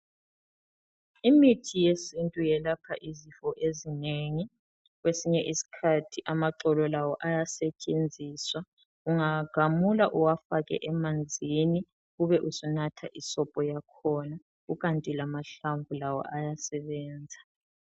Imithi yesintu yelapha izifo ezinengi. Kwesinye iskhathi amaxolo lawo ayasetshenziswa. Ungawagamula uwafake emanzini, ube usunatha isobho yakhona, kukanti lamahlamvu lawo ayasebenza.